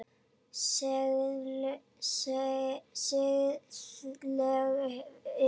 Siðleg lygi.